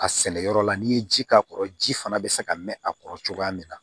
A sɛnɛyɔrɔ la n'i ye ji k'a kɔrɔ ji fana bɛ se ka mɛn a kɔrɔ cogoya min na